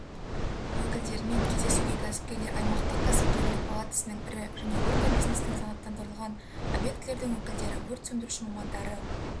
өкілдерімен кездесуге кәсіпкерлер аймақтық кәсіпкерлер палатасының ірі және орта бизнестің санаттандырылған объектілердің өкілдері өрт сөндіруші мамандары